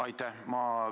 Aitäh!